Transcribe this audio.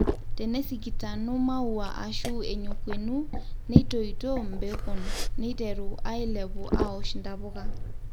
tenesikitanu maua ashu enyokuenu, netoito mbekun neiteru ailepu aosh ntapuka